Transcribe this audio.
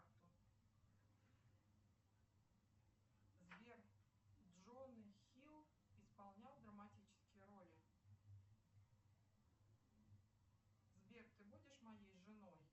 сбер джон хилл исполнял драматические роли сбер ты будешь моей женой